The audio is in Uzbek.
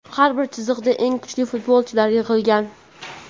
Har bir chiziqda eng kuchli futbolchilar yig‘ilgan;.